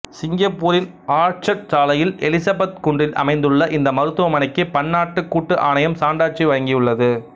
சிங்கப்பூரின் ஆர்ச்சர்டு சாலையில் எலிசபெத் குன்றில் அமைந்துள்ள இந்த மருத்துவமனைக்கு பன்னாட்டு கூட்டு ஆணையம் சான்றாட்சி வழங்கியுள்ளது